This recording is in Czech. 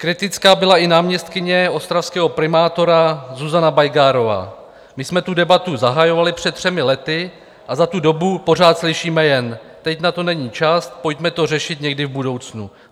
Kritická byla i náměstkyně ostravského primátora Zuzana Bajgárová: "My jsme tu debatu zahajovali před třemi lety a za tu dobu pořád slyšíme jen: Teď na to není čas, pojďme to řešit někdy v budoucnu.